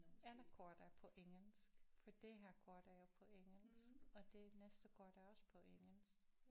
Alle kort er på engelsk for det her kort er jo på engelsk og det næste kort er også på engelsk